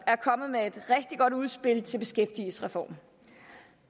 er kommet med et rigtig godt udspil til beskæftigelsesreformen